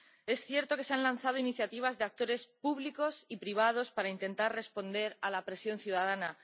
Es cierto que se han lanzado iniciativas de actores públicos y privados para intentar responder a la presión ciudadana